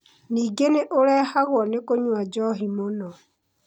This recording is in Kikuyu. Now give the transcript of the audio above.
Ningĩ nĩ ũrehagwo nĩ kũnyua njohi mũno.